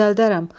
Düzəldərəm.